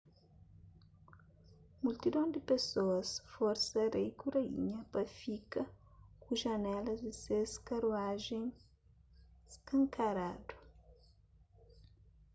multidon di pesoas forsa rei ku raínha pa fika ku janelas di ses karuajen skankaradu